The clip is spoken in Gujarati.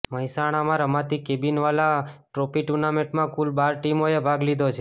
મહેસાણામા રમાતી કેબિનવાલા વાલા ટ્રોફી ટુર્નામેન્ટમાં કુલ બાર ટીમોએ ભાગ લીધો છે